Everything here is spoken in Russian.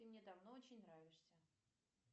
ты мне давно очень нравишься